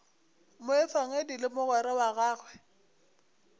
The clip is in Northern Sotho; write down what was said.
moefangedi le mogwera wa gagwe